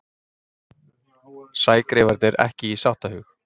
Sægreifarnir ekki í sáttahug